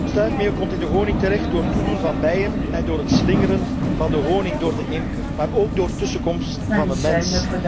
Stuifmeel komt in de honing terecht door toedoen van bijen en door het slingeren van de honing door de imker, maar ook door tussenkomst van de mens.